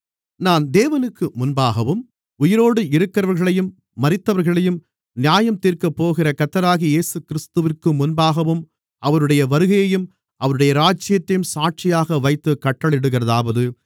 நான் தேவனுக்கு முன்பாகவும் உயிரோடு இருக்கிறவர்களையும் மரித்தவர்களையும் நியாயந்தீர்க்கப்போகிற கர்த்தராகிய இயேசுகிறிஸ்துவிற்கு முன்பாகவும் அவருடைய வருகையையும் அவருடைய ராஜ்யத்தையும் சாட்சியாக வைத்துக் கட்டளையிடுகிறதாவது